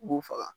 U b'u faga